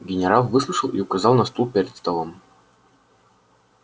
генерал выслушал и указал на стул перед столом